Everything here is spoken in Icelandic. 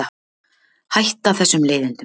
Hætta þessum leiðindum.